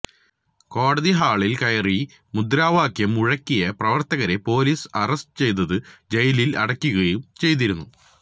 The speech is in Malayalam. കോടതി ഹാളില് കയറി മുദ്രാവാക്യം മുഴക്കിയ പ്രവര്ത്തകരെ പോലീസ് അറസ്റ്റ് ചെയ്ത് ജയിലില് അടയ്ക്കുകയും ചെയ്തിരുന്നു